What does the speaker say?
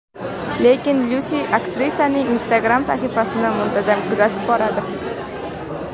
Lekin Lyusi aktrisaning Instagram sahifasini muntazam kuzatib boradi.